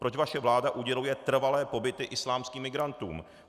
Proč vaše vláda uděluje trvalé pobyty islámským migrantům?